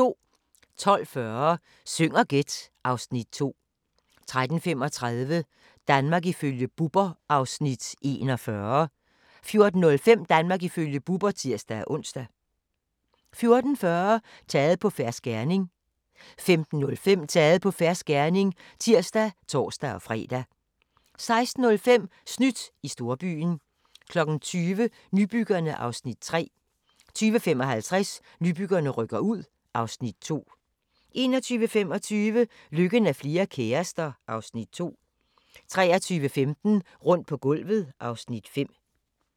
12:40: Syng og gæt (Afs. 2) 13:35: Danmark ifølge Bubber (Afs. 41) 14:05: Danmark ifølge Bubber (tir-ons) 14:40: Taget på fersk gerning 15:05: Taget på fersk gerning (tir og tor-fre) 16:05: Snydt i storbyen 20:00: Nybyggerne (Afs. 3) 20:55: Nybyggerne rykker ud (Afs. 2) 21:25: Lykken er flere kærester (Afs. 2) 23:15: Rundt på gulvet (Afs. 5)